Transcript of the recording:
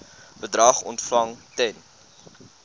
bedrag ontvang ten